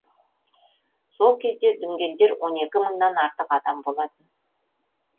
сол кезде дүнгендер он екі мыңнан артық адам болатын